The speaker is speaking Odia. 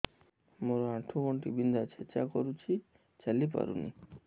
ମୋର ଆଣ୍ଠୁ ଗଣ୍ଠି ବିନ୍ଧା ଛେଚା କରୁଛି ଚାଲି ପାରୁନି